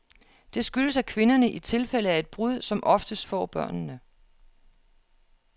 Det skyldes, at kvinderne, i tilfælde af et brud, som oftest får børnene.